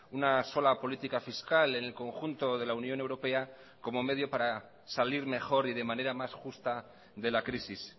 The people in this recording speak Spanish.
una sola política fiscal en el conjunto de la unión europea como medio para salir mejor y de manera más justa de la crisis